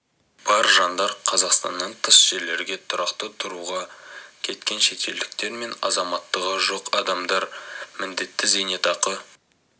бар жандар қазақстаннан тыс жерлерге тұрақты тұруға кеткен шетелдіктер мен азаматтығы жоқ адамдар міндетті зейнетақы